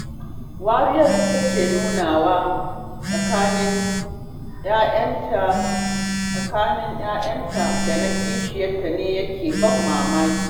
Wariyar da take nunawa tsakanin 'ya'yanta da na kishiyarta ne yake ban mamaki